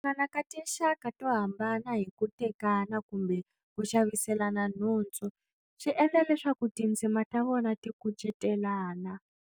Ku hlangana ka tinxaka to hambana hi ku tekana kumbe ku xaviselana nhundzu swi endla leswaku tindzimi ta vona ti kucetelana.